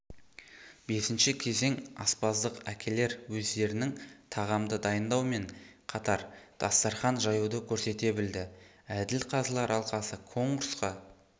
бесінші кезең аспаздық әкелер өздерінің тағамды дайындау мен қатар дастархан жаюды көрсете білді әділ қазылар алқасы конкурсқа